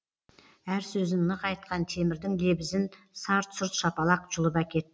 әр сөзін нық айтқан темірдің лебізін сарт сұрт шапалақ жұлып әкет